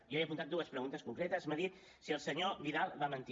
jo he apuntat dues preguntes concretes m’ha dit si el senyor vidal va mentir